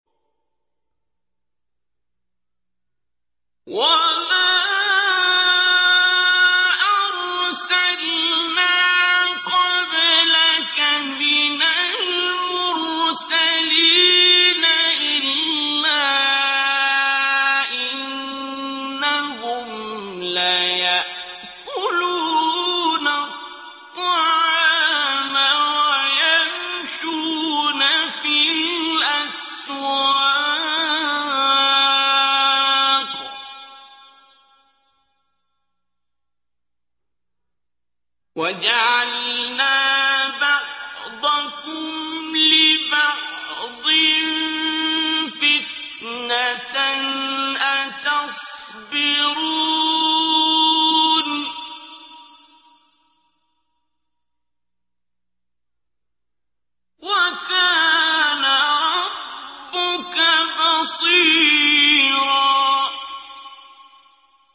وَمَا أَرْسَلْنَا قَبْلَكَ مِنَ الْمُرْسَلِينَ إِلَّا إِنَّهُمْ لَيَأْكُلُونَ الطَّعَامَ وَيَمْشُونَ فِي الْأَسْوَاقِ ۗ وَجَعَلْنَا بَعْضَكُمْ لِبَعْضٍ فِتْنَةً أَتَصْبِرُونَ ۗ وَكَانَ رَبُّكَ بَصِيرًا